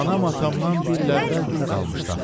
Anam atamdan bir il əvvəl dul qalmışdı axı.